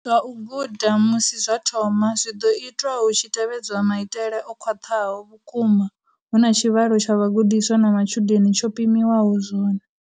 Zwa u guda, musi zwa thoma, zwi ḓo itwa hu tshi tevhedzwa maitele o khwaṱhaho vhukuma hu na tshivhalo tsha vhagudiswa na matshudeni tsho pimiwaho zwone.